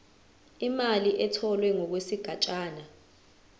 imali etholwe ngokwesigatshana